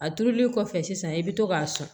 A turuli kɔfɛ sisan i bɛ to k'a sɔn